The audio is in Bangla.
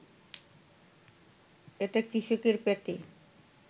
এটা কৃষকের পেটে